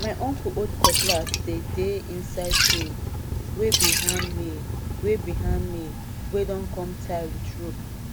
my uncle old cutlass dey dey inside sheath wey be handmade wey be handmade wey don come tie with rope